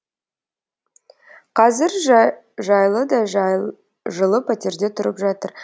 қазір жайлы да жылы пәтерде тұрып жатыр